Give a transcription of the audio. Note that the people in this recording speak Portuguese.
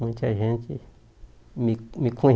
Muita gente me me